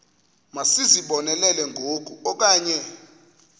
masizibonelele ngoku okanye